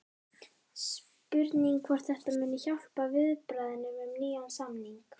Spurning hvort þetta muni hjálpa í viðræðunum um nýjan samning?